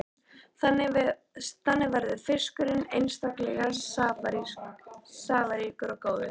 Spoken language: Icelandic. Þannig verður fiskurinn einstaklega safaríkur og góður.